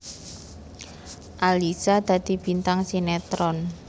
Alyssa dadi bintang sinetron